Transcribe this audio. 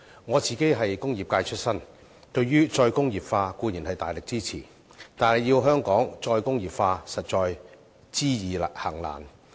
我是工業界出身，對於"再工業化"'固然大力支持。但要香港"再工業化"，實在知易行難。